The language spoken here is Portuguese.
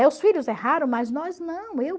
Os filhos erraram, mas nós não. Eu